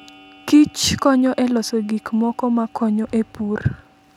Kich konyo e loso gik moko makonyo e pur.